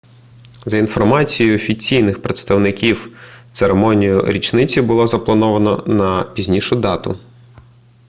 за інформацією офіційних представників церемонію річниці було заплановано на пізнішу дату